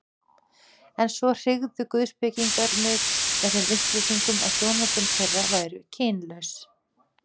En svo hryggðu guðspekingar mig með þeim upplýsingum, að hjónabönd þeirra væru kynlaus.